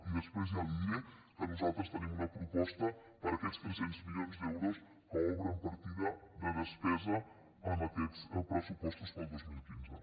i després ja li diré que nosaltres tenim una proposta per a aquests tres cents milions d’euros que obren partida de despesa en aquests pressupostos per al dos mil quinze